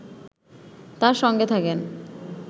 তাঁর সঙ্গে থাকেন